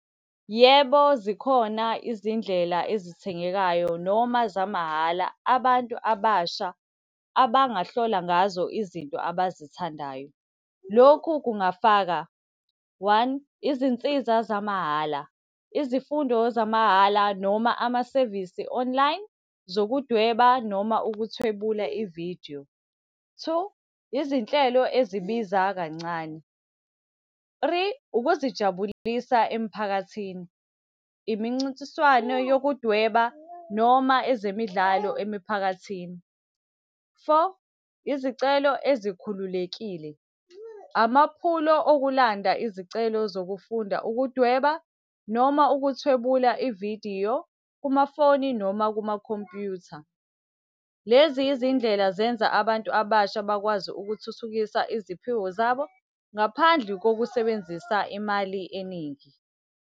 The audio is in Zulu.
Yebo zikhona izindlela ezithengekayo noma zamahhala abantu abasha abangahlola ngazo izinto abazithandayo. Lokhu kungafaka, one, izinsiza zamahhala, izifundo zamahhala noma amasevisi online, zokudweba noma ukuthwebula ividiyo. Two, izinhlelo ezibiza kancane. Three, ukuzijabulisa emphakathini, imincintiswano yokudweba, noma ezemidlalo emiphakathini. Four, izicelo ezikhululekile, amaphulo okulanda izicelo zokufunda, ukudweba noma ukuthwebula ividiyo kumafoni noma kumakhompyutha. Lezi izindlela zenza abantu abasha bakwazi ukuthuthukisa iziphiwo zabo, ngaphandle kokusebenzisa imali eningi.